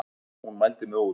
Hún mældi mig út.